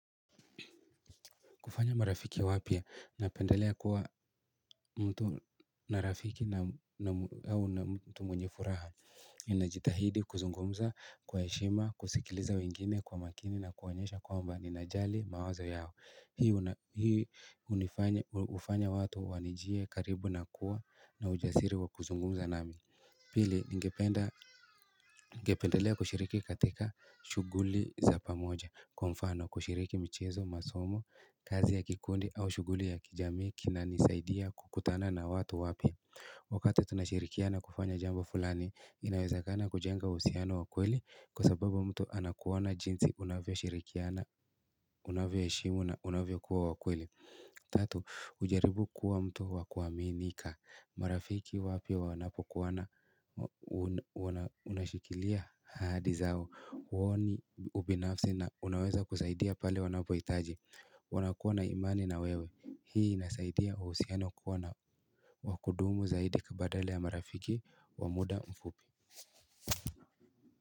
Kufanya marafiki wapya napendelea kuwa mtu na rafiki na mtu mwenye furaha Ninajitahidi kuzungumza kwa heshima kusikiliza wengine kwa makini na kuwaonyesha kwamba ninajali mawazo yao Hii hufanya watu wanijie karibu na kuwa na ujasiri wa kuzungumza nami Pili, ningependelea kushiriki katika shuguli za pamoja kwa mfano, kushiriki michezo, masomo, kazi ya kikundi au shuguli ya kijamii kinanisaidia kukutana na watu wapya Wakati tunashirikiana kufanya jambo fulani, inawezakana kujenga uhusiano ukweli Kwa sababu mtu anakuona jinsi unavyoshirikiana, unavyoheshimu na unavyo kuwa wakweli Tatu hujaribu kuwa mtu wa kuaminika marafiki wapya wanapokuoana unashikilia hadi zao huoni ubinafsi na unaweza kusaidia pale wanapohitaji wanakuwa na imani na wewe hii inasaidia wa uhusiano kuwa na wa kudumu zaidi badala ya marafiki wa muda mfupi.